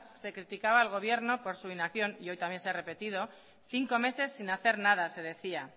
se criticaba al gobierno por su inacción y hoy también se ha repetido cinco meses sin hacer nada se decía